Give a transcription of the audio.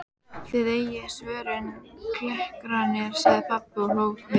Þið eigið svörin, klerkarnir, sagði pabbi og hló við.